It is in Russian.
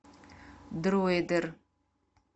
дройдер